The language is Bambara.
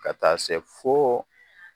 Ka taa se fo